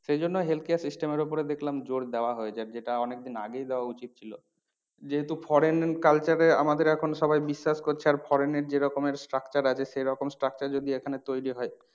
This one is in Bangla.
সেইজন্য health care system এর ওপর দেখলাম জোর দেওয়া হয়েছে। আর যেটা অনেক দিন আগেই দেওয়া উচিত ছিল। যেহেতু foreign culture এ আমাদের এখন সবাই বিশ্বাস করছে আর foreign এর যেরকমের structure আছে সেরকম structure যদি এখানে তৈরী হয়